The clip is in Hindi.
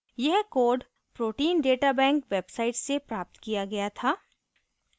यह code protein data bank website से प्राप्त किया गया था